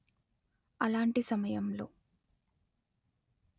అలాంటి సమయంలో